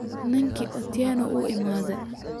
Ninki Atieno wuu iimade.